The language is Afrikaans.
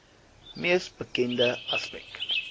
mees bekende aspek